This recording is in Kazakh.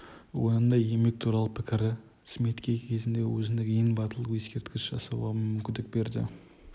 өнімді еңбек туралы пікірі смитке кезінде өзіндік ең батыл ескерткіш жасауға мүмкіндік берді